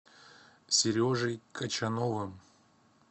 сережей качановым